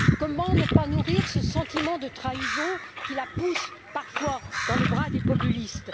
Comment ne pas nourrir ce sentiment de trahison qui la pousse parfois dans les bras des populistes?